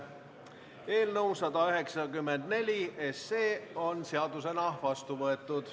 Eelnõu 194 on seadusena vastu võetud.